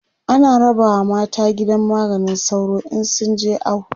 ana rabawa mata gidan maganin sauro in sun je awo